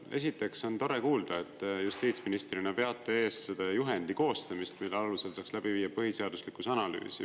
Esiteks on tore kuulda, et justiitsministrina veate eest seda juhendi koostamist, mille alusel saaks läbi viia põhiseaduslikkuse analüüsi.